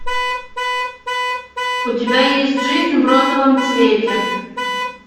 у тебя есть жизнь в розовом цвете